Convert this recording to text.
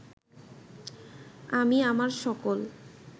আমি আমার সকল